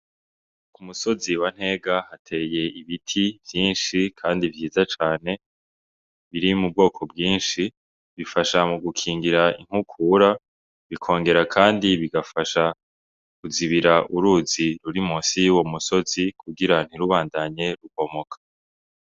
Umusozi wa ntega hateye ibiti vyishi kandi vyiza cane biri mu bwoko bwishi bifasha mu gukingira inkukura bikongera kandi bigafasha kuzibira uruzi ruri munsi yuwo musozi kugira ntirubandanye rubomoka.